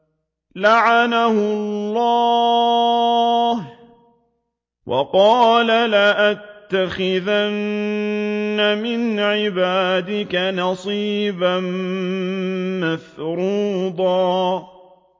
لَّعَنَهُ اللَّهُ ۘ وَقَالَ لَأَتَّخِذَنَّ مِنْ عِبَادِكَ نَصِيبًا مَّفْرُوضًا